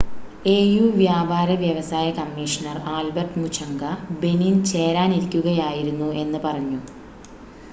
AU വ്യാപാര വ്യവസായ commissioner Albert Muchanga Benin ചേരാനിരിക്കുകയായിരുന്നു എന്ന് പറഞ്ഞു